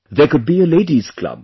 There could be a Ladies' club